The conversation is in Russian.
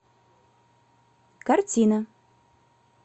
картина